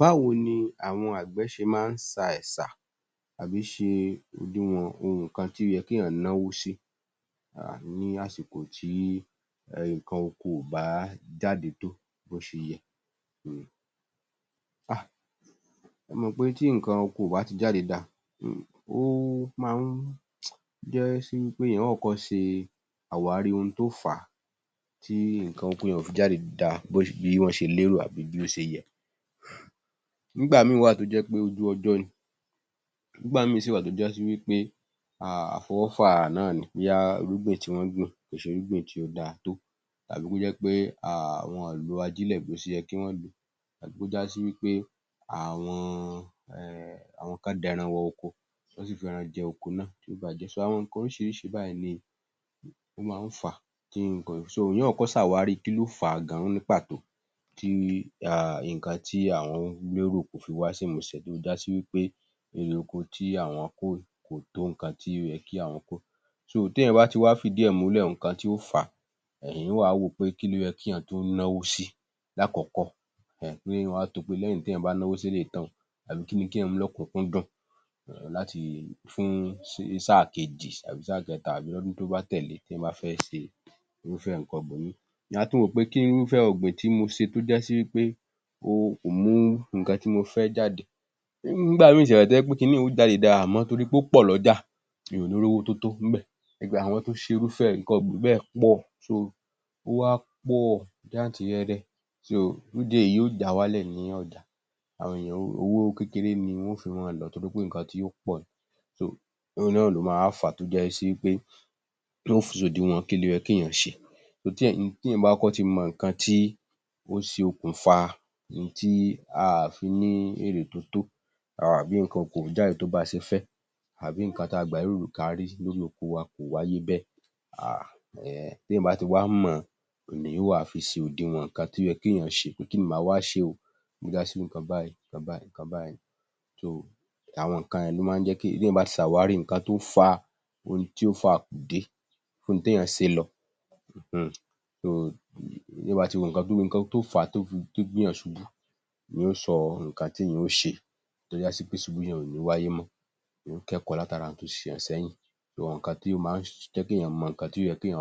Báwo ni àwọn àgbẹ̀ ṣe máa ń ṣa ẹ̀ṣà àbí ṣe òdiwọ̀n nǹkan tó yẹ kéèyàn náwó sí um ní àsìkò tí um nǹkan oko ò bá jáde tó bó ṣe yẹ um? Hà, ẹ mọ̀ pé tí nǹkan oko ò bá ti jáde dáa,[um] ó máa ń um já sí wí pé èèyàn ó kọ́kọ́ ṣe àwárí ohun tó fà á tí nǹkan oko yẹn ò fi jáde dáa bí wọ́n ṣe lérò àbí bí ó ṣe yẹ. Nígbà míì wà tó jẹ́ pé ojú ọjọ́ ni, nígbà míì sì wà tó já sí wí pé um àfọwọ́fà náà ni bóyá irúgbìn tí wọ́n gbìn kò ṣe irúgbìn tí ó dáa tó, tàbí kó jẹ́ pe um wọn ò lo ajílẹ̀ bó ṣe yẹ kí wọ́n lò ó, àbí kó já sí wí pé àwọn um àwọn kan dẹran wọ oko, wọ́n sì fẹran jẹ oko náà, wọ́n bàájẹ́, so àwọn nǹkan oríṣirísi báyìí ni ó máa ń fà á tí nǹkan èèyàn ó kọ́kọ́ ṣàwàrì kí ló fà á gan-an ní pàtó, tí um nǹkan tí àwọn lérò kò fi wá sí ìmúṣẹ, tó já sí wí pé irè oko tí àwọn kó kò tó nǹkan tí ó yẹ kí àwọn kó, tí èèyàn bá ti wá fìdí ẹ̀ múlẹ̀ nǹkan tí ó fà á um, èyàn ò wá wò ó pè kí ló yẹ kéèyàn tún náwó sí lákọ̀kọ́, kí èyàn ó wa to wò ó pẹ́ lẹ́yìn téèyàn bá náwó sí eléyìí tán o tàbí kíní kẹ́yàn mú ní ọ̀kúnkúndùn[um] láti fún sí sáà kejì tàbí sáà kẹ́ta tàbí lọ́dùn tó bá tẹ̀lẹ́, tí èyàn bá fẹ́ ṣe irúfẹ́ nǹkan ibòmíì. Èèyàn á tún wò ó pé kí, irúfẹ́ ọ̀gbìn tí mo ṣe tó já sí wípé o, kò mú nǹkan tí mo fẹ́ jáde, nígbà míì sì wà tò jẹ́ pé kiní un yóò jáde dáa àmọ́ torí pé ó pọ̀ lọ́jà, èyàn ò ní í rówó tó tó níbẹ̀, ìgbà àwọn tó ṣe irúfẹ́ nǹkan ọ̀gbìn bẹ́ẹ̀ pọ̀, so ó wá pọ̀ jáǹtíìrẹrẹ, so fún ìdí èyí yóò já wálẹ̀ ní ọjà, àwọn èyàn ó, owó kékeré ni wọn ó fi máa lọ̀ ọ́ torí pé nǹkan tí ó pọ̀ ni, so ohun náa ló máa wá fà á tó já sí wí pé, tí yóò fi sòdiwọ̀n kí ló yẹ kéèyàn ṣe. Tí èyàn bá kọ́kọ́ ti mọ nǹkan tí ó ṣokùnfà ohun tí a à fi ní èrè tó tó àbí nǹkan oko ò jáde tó bá a ṣe fẹ́, àbí nǹkan tí a gbà lérò n kọ́ la rí, lórí oko wa kò wáyé bẹ́ẹ̀ um téèyàn bá ti wá mọ̀ ọ́n, ni èyàn ó wá fi ṣe òdiwọ̀n nńkan tó yẹ kéèyàn ṣe, pé kínni mà á wá ṣe o, tó já sí nǹkan báyìí, nǹkan báyìí, so àwọn nǹkan yẹn ló máa ń jẹ́ kí èyàn, téèyàn bá ti ṣàwárí àwọn nǹkan tó fa, ohun tí ó fa àkùdé fún ohun téèyàn ṣe lọ um téèyàn bá ti wo nǹkan tó fà á tó fi gbé èyàn ṣubú ni yóò sọ nǹkan téèyàn ó ṣe, tó já sí pe ìṣubú yẹn o ní í wáyé mọ́, èyàn ó kẹ́ẹ̀kọ́ látara ohun tó ṣẹlẹ̀ sẹ́yìn, so nǹkan tó máa jẹ́ kéyàn kọ́kọ́ mọ nǹkan tó yẹ kéyàn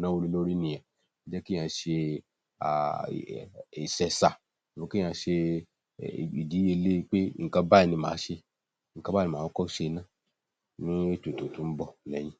náwó lórí nìyẹn, jẹ́ kéyàn ṣe um iṣẹ́ ṣá abi kéyàn ṣe ìdíye le pé nǹkan báyìí ni mà á ṣe, nǹkan báyìí ni mà á kọ́kọ́ ṣe ná, ni ètò tó tún ń bọ̀ lẹ́yìn.